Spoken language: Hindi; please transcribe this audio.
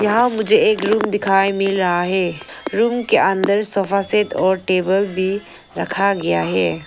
यहां मुझे एक रूम दिखाएं मिल रहा है रूम के अंदर सोफा सेट और टेबल भी रखा गया है।